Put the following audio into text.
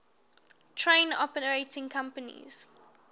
train operating companies